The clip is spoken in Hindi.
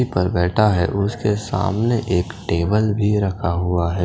पर बेठा है उसके सामने एक टेबल भी रखा हुआ है ।